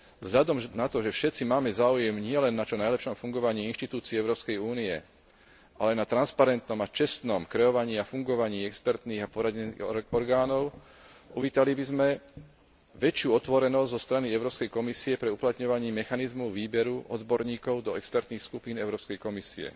Vzhľadom na to, že všetci máme záujem nielen na čo najlepšom fungovaní inštitúcií Európskej únie, ale aj na transparentnom a čestnom kreovaní a fungovaní expertných a poradných orgánov, uvítali by sme väčšiu otvorenosť zo strany Európskej komisie pri uplatňovaní mechanizmu výberu odborníkov do expertných skupín Európskej komisie.